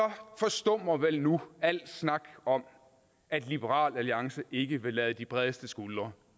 forstummer vel nu al snak om at liberal alliance ikke vil lade de bredeste skuldre